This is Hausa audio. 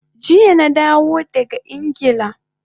Jiya na dawo daga Ingila